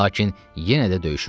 Lakin yenə də döyüşürdü.